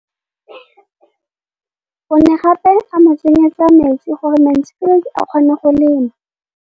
O ne gape a mo tsenyetsa metsi gore Mansfield a kgone go lema.